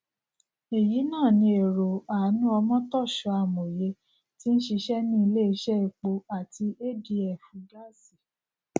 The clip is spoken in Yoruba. èyí náà ní èrò anu omotoshoamòye tí n ṣiṣẹ ní ilé iṣẹ epo àti adf gáásì